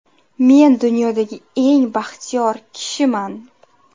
Men dunyodagi eng baxtiyor kishiman.